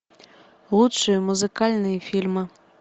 лучшие музыкальные фильмы